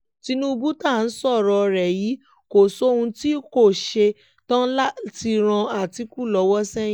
tinúbù tá à ń sọ̀rọ̀ rẹ̀ yìí kò sóhun tí kò ṣe tán láti ran àtìkù lọ́wọ́ sẹ́yìn